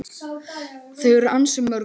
Þau eru ansi mörg.